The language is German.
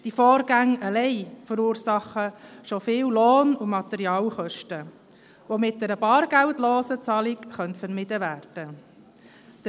Diese Vorgänge verursachen allein schon viele Lohn- und Materialkosten, die mit einer bargeldlosen Zahlung vermieden werden können.